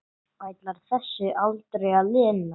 Ætlar þessu aldrei að linna?